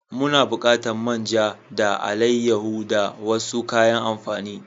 Muna bukatan man ja da alaiyaho da wasu kayan amfani.